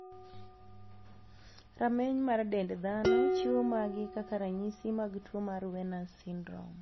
Ramney mar dend dhano chiwo maagi kaka ranyisi mag tuo mar Werner's syndrome.